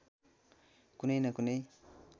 कुनै न कुनै